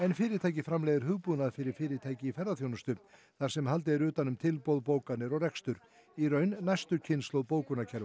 fyrirtækið framleiðir hugbúnað fyrir fyrirtæki í ferðaþjónustu þar sem haldið er utan um tilboð bókanir og rekstur í raun næstu kynslóð